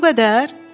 Elə bu qədər?